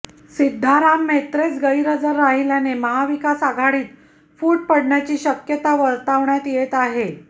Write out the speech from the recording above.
सिद्धाराम म्हेत्रेच गैरहजर राहिल्याने महाविकास आघाडीत फूट पडण्याची शक्यता वर्तवण्यात येत आहे